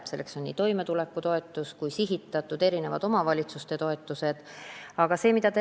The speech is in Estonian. Selleks on toimetulekutoetus ja erinevad omavalitsuste sihitatud toetused.